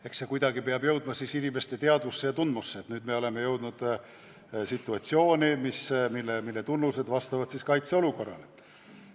Eks see kuidagi peab teadvusse jõudma, et nüüd oleme jõudnud situatsiooni, mille tunnused vastavad kaitseolukorra tunnustele.